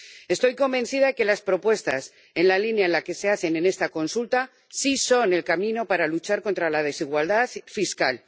Estoy convencida de que las propuestas en la línea en la que se hacen en esta consulta sí son el camino para luchar contra la desigualdad fiscal.